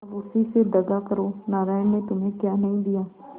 अब उसी से दगा करो नारायण ने तुम्हें क्या नहीं दिया